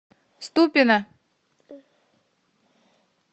ступино